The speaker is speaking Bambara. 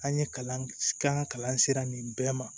An ye kalan k'an ka kalan sera nin bɛɛ ma